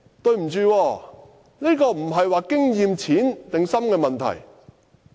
不好意思，但這不是經驗淺或深的問題。